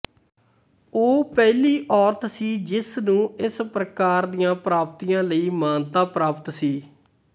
ਉਹ ਪਹਿਲੀ ਔਰਤ ਸੀ ਜਿਸ ਨੂੰ ਇਸ ਪ੍ਰਕਾਰ ਦੀਆਂ ਪ੍ਰਾਪਤੀਆਂ ਲਈ ਮਾਨਤਾ ਪ੍ਰਾਪਤ ਸੀ